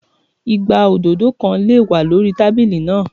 Igbá òdòdó kan lè wà lórí tábílì náà.